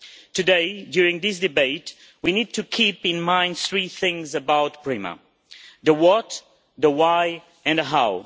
Today, during this debate, we need to keep in mind three things about PRIMA the what, the why and the how.